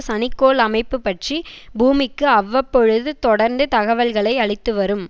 சனி கோள் அமைப்பு பற்றி பூமிக்கு அவ்வப்பொழுது தொடர்ந்து தகவல்களை அளித்துவரும்